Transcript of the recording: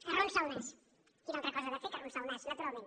arronsa el nas quina altra cosa ha de fer que arronsar el nas naturalment